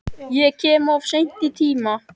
Ég kem of seint í tímann.